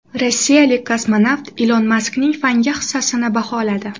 Rossiyalik kosmonavt Ilon Maskning fanga hissasini baholadi.